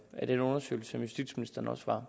af den undersøgelse som justitsministeren også var